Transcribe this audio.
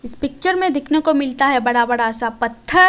इस पिक्चर में देखने को मिलता है बड़ा बड़ा सा पत्थर--